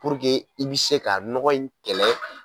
Puruke i bɛ se ka nɔgɔ in kɛlɛ.